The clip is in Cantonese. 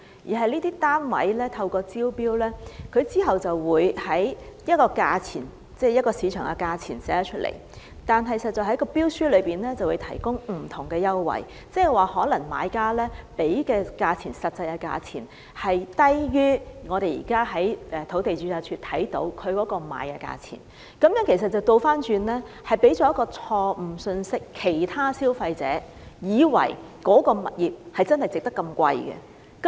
這些單位在招標時，列出一個正常的市場價錢，但在標書內卻會提供不同的優惠，即買家實際繳付的價錢可能低於我們在土地註冊處可以看到的賣價，這樣反而給予其他消費者一個錯誤信息，以為該個物業值那麼高價錢。